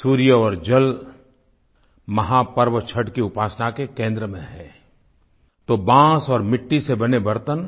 सूर्य और जल महापर्व छठ की उपासना के केंद्र में हैं तो बांस और मिट्टी से बने बर्तन